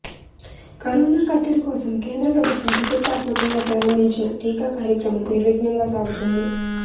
corona కట్టడి కోసం కేంద్ర ప్రభుత్వం ప్రతిష్టాత్మకంగా ప్రారంభించిన టీకా కార్యక్రమం నిర్విఘ్నంగా సాగుతోంది